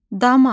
Dama.